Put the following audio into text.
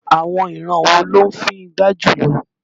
Àwọn ìran wo ló ń fíngbá jùlọ?